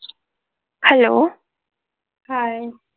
Hello hi.